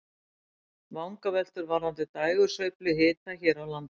Vangaveltur varðandi dægursveiflu hita hér á landi.